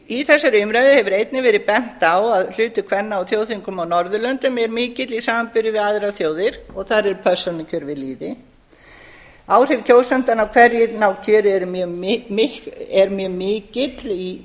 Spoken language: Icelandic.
í þessari umræðu hefur einnig verið bent á að hlutur kvenna á þjóðþingum á norðurlöndum er mikill í samanburði við aðrar þjóðir og þar er persónukjör við lýði áhrif kjósendanna á hverjir ná kjöri eru mjög mikil í